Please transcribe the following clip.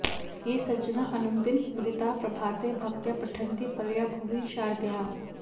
ये सज्जना अनुदिनं मुदिताः प्रभाते भक्त्या पठन्ति परया भुवि शारदायाः